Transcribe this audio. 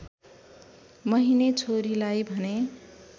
महिने छोरीलाई भने